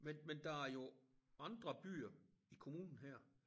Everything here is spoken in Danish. Men men der er jo andre byer i kommunen her